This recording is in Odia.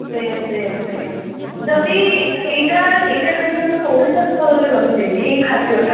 ଯଦି ଏଇଟା ଏଇଟା ଖାଲି ଆମ ଓଡିଶା ସ୍ତରରେ ରହି ଯାଇଛି ଏଇ ଖାଦ୍ଯଟା